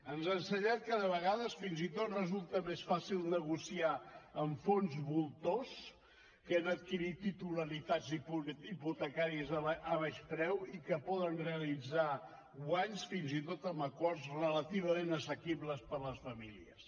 ens ha ensenyat que de vegades fins i tot resulta més fàcil negociar amb fons voltors que han adquirit titularitats hipotecàries a baix preu i que poden realitzar guanys fins i tot amb acords relativament assequibles per a les famílies